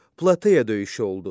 Plateya döyüşü oldu.